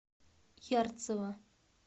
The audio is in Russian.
ярцево